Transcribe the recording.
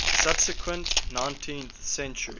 subsequent nineteenth century